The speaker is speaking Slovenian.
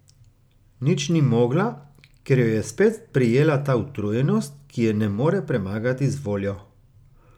Nič ni mogla, ker jo je spet prijela ta utrujenost, ki je ne more premagati z voljo.